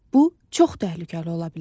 Bu çox təhlükəli ola bilər.